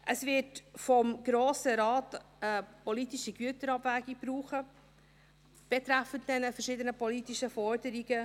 Es wird vom Grossen Rat eine politische Güterabwägung brauchen betreffend diese verschiedenen politischen Forderungen.